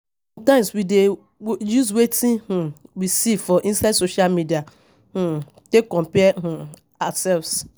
Sometimes we dey use wetin um we see for inside social media um take compare um ourselves